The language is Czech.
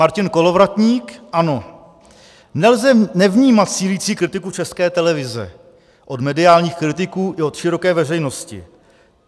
Martin Kolovratník, ANO: Nelze nevnímat sílící kritiku České televize od mediálních kritiků i od široké veřejnosti.